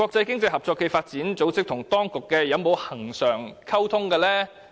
經合組織與當局有否恆常溝通？